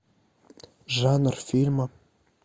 жанр фильма